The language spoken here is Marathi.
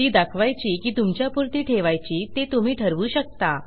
ती दाखवायची की तुमच्यापुरती ठेवायची ते तुम्ही ठरवू शकता